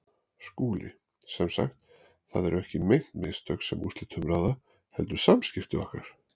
SKÚLI: Sem sagt: það eru ekki meint mistök, sem úrslitum ráða, heldur samskipti okkar?